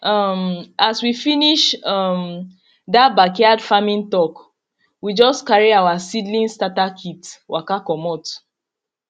um as we finish um that backyard farming talk we just carry our seedling starter kit waka comot